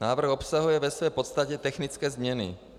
Návrh obsahuje ve své podstatě technické změny.